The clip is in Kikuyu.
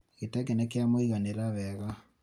gĩtenge nĩkĩamũiganĩra wega